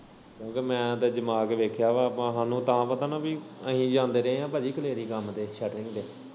ਕਿਉਂਕਿ ਮੈਂ ਤੇ ਅਜਮਾ ਕੇ ਦੇਖਿਆ ਵਾ ਆਪਾਂ ਹਾਨੂੰ ਤਾਂ ਪਤਾ ਅਸੀ ਜਾਂਦੇ ਰਹੇ ਆ ਭਾਜੀ ਕਲੇਰੀ ਕੰਮ ਤੇ ਸ਼ਟਰਿੰਗ।